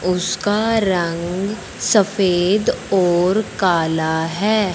उसका रंग सफेद और काला है।